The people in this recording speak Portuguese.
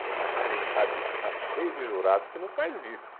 Porque, na realidade, está cheio de jurado que não faz isso.